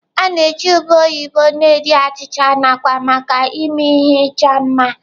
A na-eji ube oyibo na-eri achịcha, nakwa maka ịme ihe ịchọ mma.